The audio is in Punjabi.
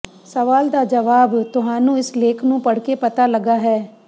ਸਵਾਲ ਦਾ ਜਵਾਬ ਤੁਹਾਨੂੰ ਇਸ ਲੇਖ ਨੂੰ ਪੜ੍ਹ ਕੇ ਪਤਾ ਲੱਗਾ ਹੈ